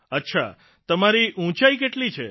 અચ્છા તમારી ઉંચાઇ કેટલી છે